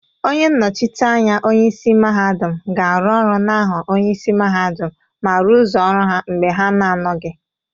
Onye nnochite anya onye isi mahadum ga-aru Oru n'aha onye isi mahadum ma rụzuo ọrụ ha mgbe ha na-anọghị.